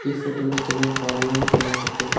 e photo ma kem ang parlour ngan ang kapley.